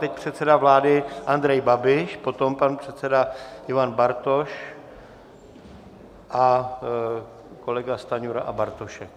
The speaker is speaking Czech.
Teď předseda vlády Andrej Babiš, potom pan předseda Ivan Bartoš a kolega Stanjura a Bartošek.